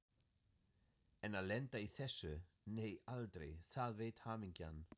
En að lenda í þessu, nei aldrei, það veit hamingjan.